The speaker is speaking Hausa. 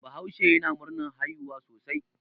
Bahaushe yana murnar haihuwa sosai.